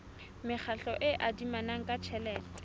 mekgatlo e adimanang ka tjhelete